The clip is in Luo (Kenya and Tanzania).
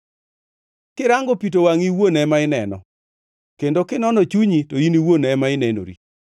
Kirango pi, to wangʼi iwuon ema ineno, kendo kinono chunyi, to in iwuon ema inenori.